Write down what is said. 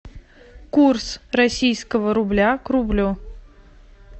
курс российского рубля к рублю